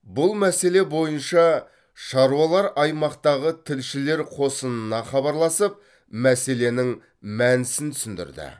бұл мәселе бойынша шаруалар аймақтағы тілшілер қосынына хабарласып мәселенің мәнісін түсіндірді